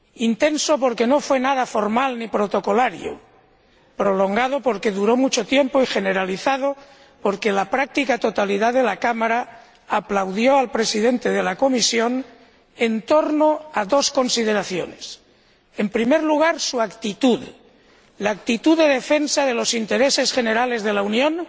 Intenso porque no fue nada formal ni protocolario, prolongado porque duró mucho tiempo, y generalizado porque la práctica totalidad de la Cámara aplaudió al Presidente de la Comisión en torno a dos consideraciones en primer lugar, su actitud, la actitud de defensa de los intereses generales de la Unión